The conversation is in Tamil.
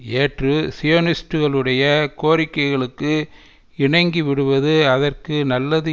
ஏற்று சியோனிஸ்டுகளுடைய கோரிக்கைகளுக்கு இணங்கிவிடுவது அதற்கு நல்லது